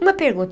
Uma pergunta.